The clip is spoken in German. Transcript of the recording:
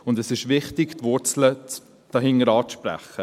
Und es ist wichtig, die Wurzel dahinter anzupacken.